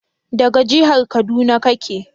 daga jihar kaduna kake?